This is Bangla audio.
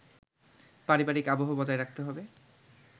পারিবারিক আবহ বজায় রাখতে হবে